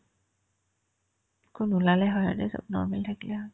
একো নোলালে হয় এনে চব normal থাকিলে হয়